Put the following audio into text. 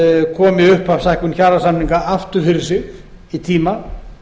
komi upphafshækkun kjarasamninga aftur fyrir sig í tíma